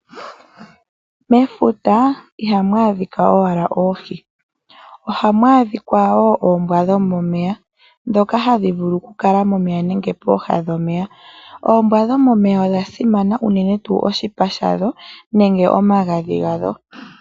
Mefuta ihamu adhika owala oohi. Ohamu adhika woo Oombwa dhomomeya ndhoka hadhi vulu oku kala momeya nenge pooha dhomeya . Oombwa dhomomeya simana unene tuu oshipa shadho nenge omagadhi gadho.